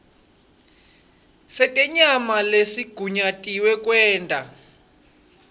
setenyama lesigunyatiwe kwenta